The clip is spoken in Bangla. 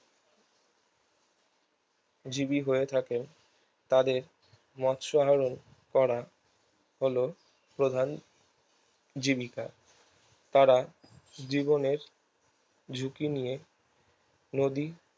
জীবি হয়ে থাকে তাদের মৎস হরণ করা হলো প্রধান জীবিকা তারা জীবনের ঝুঁকি নিয়ে নদী